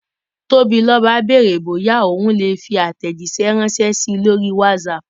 Tobiloba béèrè bóyá òun lè fi àtẹ̀jíṣẹ́ ránṣẹ́ sí i lórí Whatsapp